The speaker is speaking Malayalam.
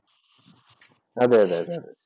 അതേയതെ അതേ.